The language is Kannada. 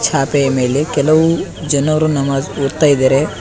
ಚಾಪೆ ಮೇಲೆ ಕೆಲವು ಜನರೂ ನಮಾಜ್ ಕುರ್ತಾ ಇದ್ದಾರೆ.